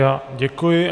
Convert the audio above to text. Já děkuji.